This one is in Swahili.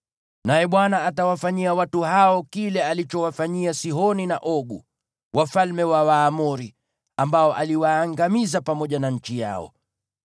Naye Bwana atawafanyia watu hao kile alichowafanyia Sihoni na Ogu, wafalme wa Waamori, ambao aliwaangamiza pamoja na nchi yao.